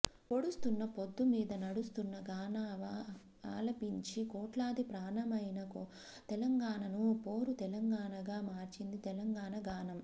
పొడుస్తున్న పొద్దు మీద నడుస్తున్న గానామా ఆలపించి కోట్లాది ప్రాణమైన తెలంగాణను పోరు తెలంగాణగా మార్చింది తెలంగాణ గానం